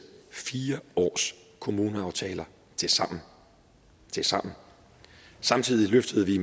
fire års kommuneaftaler tilsammen tilsammen samtidig løftede vi